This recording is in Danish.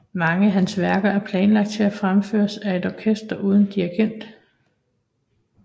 Mange af hans værker er planlagt til at fremføres af et orkester uden dirigent